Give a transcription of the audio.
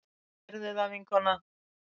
Gerðu það, vinkona!